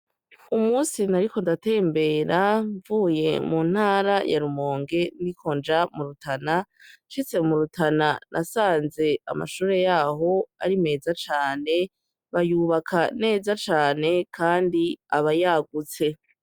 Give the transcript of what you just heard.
Umusi nariko ndatembera mvuye muntara ya Rumonge ndiko nja mu Rutana, nshitse murutana nasanze amashure yaho ari meza cane. Bayubaka neza cane, kandi aba yagutse.